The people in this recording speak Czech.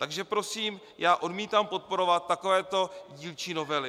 Takže prosím, já odmítám podporovat takovéto dílčí novely.